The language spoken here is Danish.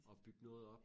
Og bygge noget op